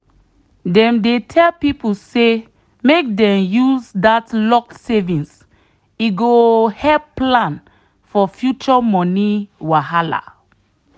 dem dey tell people say make dem use that locked savings e go help plan for future money wahala.